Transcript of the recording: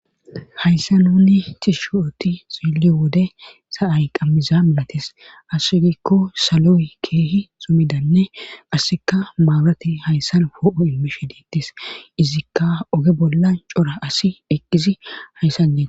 Hayssa nuni ti shooti xili wode sa'ay qammiza milates asse gikko salo'e keehi sumidanne assika maaurati hayssan ho'o imishe diittes izikka oge bolla cora asi eqqizi hayssan eee.